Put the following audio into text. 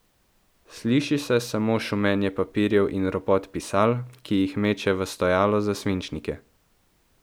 Sliši se samo šumenje papirjev in ropot pisal, ki jih meče v stojalo za svinčnike.